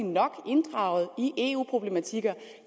nok inddraget i eu problematikker